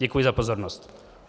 Děkuji za pozornost.